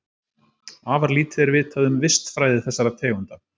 Afar lítið er vitað um vistfræði þessara tegunda.